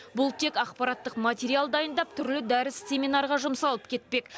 бұл тек ақпараттық материал дайындап түрлі дәріс семинарға жұмсалып кетпек